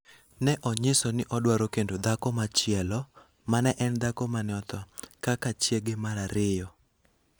ne onyiso ni odwaro kendo dhako machielo, ma ne en dhako ma ne otho, kaka chiege mar ariyo.